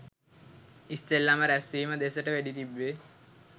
ඉස්සෙල්ලම රැස්වීම දෙසට වෙඩි තිබ්බේ.